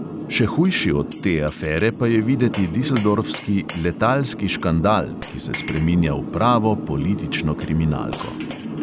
Še hujši od te afere pa je videti dizeldorfski "letalski škandal", ki se spreminja v pravo politično kriminalko.